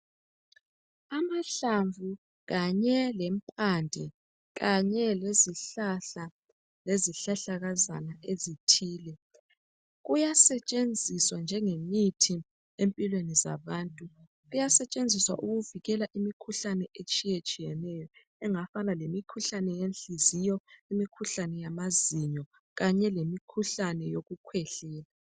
Amahlamvu kanye lemphande kanye le zihlahla lezihlahlakazana ezithile, kuyasetshenziswa njengemithi emphilweni zabantu. Kuyasetshinziswa ukuvikila imikhuhlane itshiyatshiyeneyo engafana lemikhuhlane yenhiziyo, imkhuhlane yamazinyo kanye lemikhuhlane yolukwehlela.